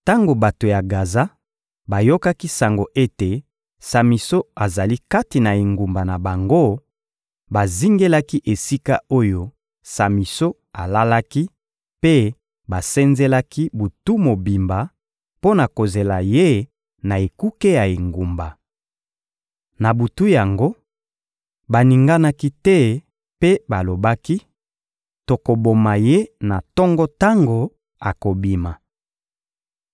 Tango bato ya Gaza bayokaki sango ete Samison azali kati na engumba na bango, bazingelaki esika oyo Samison alalaki mpe basenzelaki butu mobimba, mpo na kozela ye na ekuke ya engumba. Na butu yango, baninganaki te mpe balobaki: «Tokoboma ye na tongo tango akobima.»